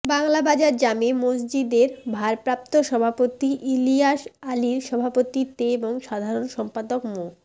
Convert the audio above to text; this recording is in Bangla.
বাংলাবাজার জামে মসজিদের ভারপ্রাপ্ত সভাপতি ইলিয়াস আলীর সভাপতিত্বে এবং সাধারণ সম্পাদক মো